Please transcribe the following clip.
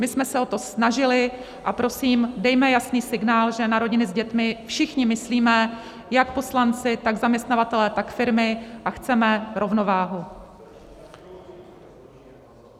My jsme se o to snažili, a prosím, dejme jasný signál, že na rodiny s dětmi všichni myslíme, jak poslanci, tak zaměstnavatelé, tak firmy, a chceme rovnováhu.